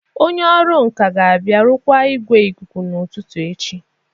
Onye ọrụ nka ga-abịa rụkwaa igwe ikuku n'ụtụtụ echi